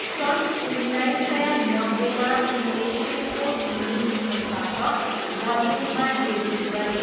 सन् उन्नाइस सय नब्बेमा उनले शिवको हिन्दी रिमेकबाट बलिउडमा डेब्यू गरे।